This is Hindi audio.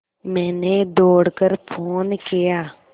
मैंने दौड़ कर फ़ोन किया